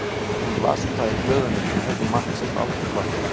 Hún las um það í blöðunum en heyrði Mark samt aldrei kvarta.